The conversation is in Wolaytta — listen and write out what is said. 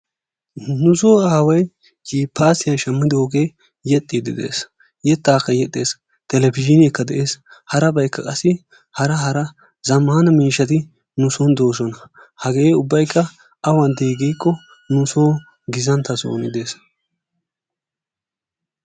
Nu soo aaway jippaasiya shammidoogee yexxiidde de'es. yettaakka yexxes televizhiineekka de'es. harabaykka qassi hara hara zammaana miishshati nu soon doosona. hage ubbay awan dii giiko nu soon gizantta soon de"es.